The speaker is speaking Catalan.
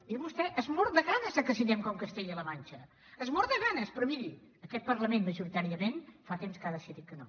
i vostè es mor de ganes que siguem com castella la manxa se’n mor de ganes però miri aquest parlament majoritàriament fa temps que ha decidit que no